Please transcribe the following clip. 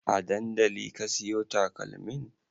A dandali ka siyo takalmin?